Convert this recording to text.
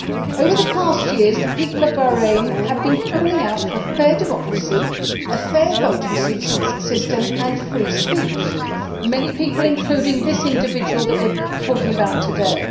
Over the past years the people of Bahrain have been calling out for fair democracy, a fair voting system and free speech many people, including this individual that we are talking about today.